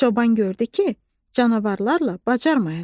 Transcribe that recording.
Çoban gördü ki, canavarlarla bacarmayacaq.